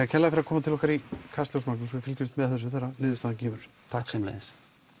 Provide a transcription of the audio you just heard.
kærlega fyrir að koma til okkar í Kastljós Magnús við fylgjumst með þessu þegar niðurstaðan kemur takk sömuleiðis